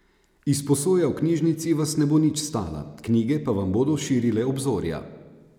Izposoja v knjižnici vas ne bo nič stala, knjige pa vam bodo širile obzorja.